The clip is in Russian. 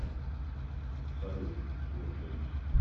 салют слушаюсь